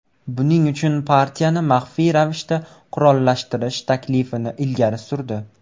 Buning uchun partiyani maxfiy ravishda qurollantirish taklifini ilgari surdi.